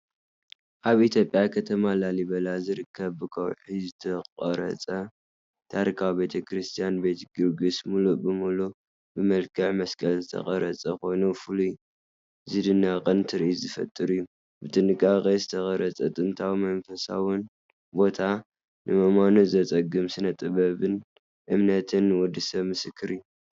ኣብ ኢትዮጵያ ከተማ ላሊበላ ዝርከብ ብከውሒ ዝተቖርጸ ታሪኻዊ ቤተ ክርስቲያን ቤት ጊዮርጊስ ምሉእ ብምሉእ ብመልክዕ መስቀል ዝተቐርጸ ኮይኑ፡ ፍሉይን ዝድነቕን ትርኢት ዝፈጥር እዩ። ብጥንቃቐ ዝተቐርጸ ጥንታዊን መንፈሳውን ቦታ፡ ንምእማኑ ዘጸግም ስነ-ጥበብን እምነትን ወዲ ሰብ ምስክር እዩ።